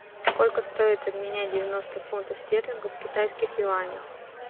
сколько стоит обменять девяносто фунтов стерлингов в китайских юанях